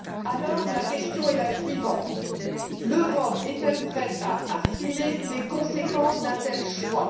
Alors, la question est la suivante l'Europe est elle prête à assumer les conséquences d'un tel choix?